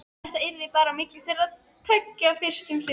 Þetta yrði bara á milli þeirra tveggja fyrst um sinn.